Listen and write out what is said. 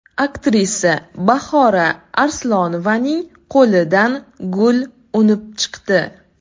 Aktrisa Bahora Arslonovaning qo‘lidan gul unib chiqdi.